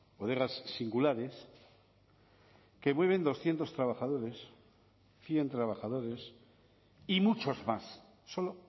bodegas singulares que mueven doscientos trabajadores cien trabajadores y muchos más solo